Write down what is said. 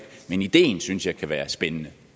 men ideen synes jeg kan være spændende